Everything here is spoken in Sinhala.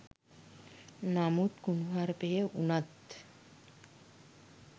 නමුත් කුණුහරපය උනත්